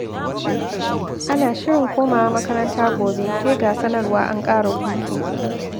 Ana shirin komawa makaranta gobe, sai ga sanarwar an ƙara hutu.